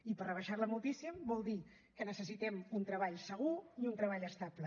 i per rebaixar la moltíssim vol dir que necessitem un treball segur i un treball estable